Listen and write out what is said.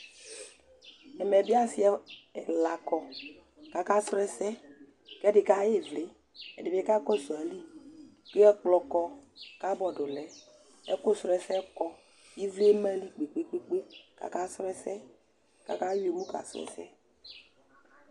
Ɛmɛ bɩ asɩ ɛla kɔ kʋ akasrɔ ɛsɛ kʋ ɛdɩ kaɣa ɩvlɩ ɛdɩ bɩ kakɔsʋ ayili kʋ ɛkplɔ kɔ, kabɔd lɛ, ɛkʋsrɔ ɛsɛ kɔ ɩvlɩ eme eeyili kpe-kpe-kpe kʋ akasrɔ ɛsɛ kʋ akayɔ emu kasrɔ ɛsɛ